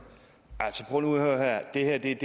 ikke